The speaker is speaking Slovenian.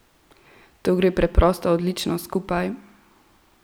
To gre preprosto odlično skupaj!